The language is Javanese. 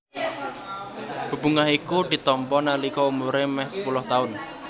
Bebungah iku ditampa nalika umuré mèh sepuluh taun